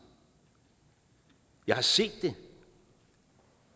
jeg har set det